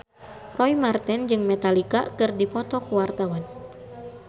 Roy Marten jeung Metallica keur dipoto ku wartawan